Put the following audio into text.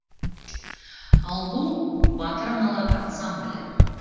ал бұл батыр аналар ансамблі